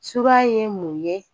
Sura ye mun ye